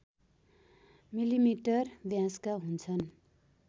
millimetre व्यासका हुन्छन्